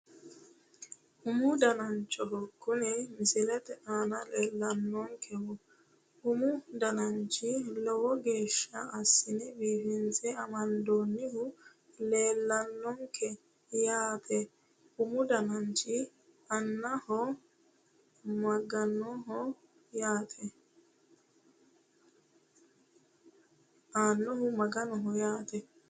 Umu danancho kuni misilete aana leellannonkehu umu dananchi lowo geeshsha assine biifinse amandoonnihu leellannonke yaate umu danancho aannnohu maganoho yaate